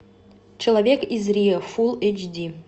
человек из рио фул эйч ди